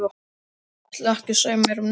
Ætlarðu ekki að segja mér neitt?